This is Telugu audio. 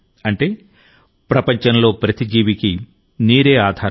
అంటే ప్రపంచంలో ప్రతి జీవికి నీరే ఆధారం